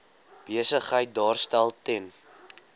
besigheid daarstel ten